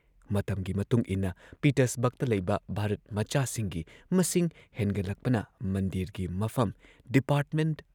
ꯃꯇꯝꯒꯤ ꯃꯇꯨꯡꯏꯟꯅ ꯄꯤꯇꯔꯁꯕꯔꯒꯇ ꯂꯩꯕ ꯚꯥꯔꯠ ꯃꯆꯥꯁꯤꯡꯒꯤ ꯃꯁꯤꯡ ꯍꯦꯟꯒꯠꯂꯛꯄꯅ ꯃꯟꯗꯤꯔꯒꯤ ꯃꯐꯝ, ꯗꯤꯄꯥꯔꯠꯃꯦꯟꯠ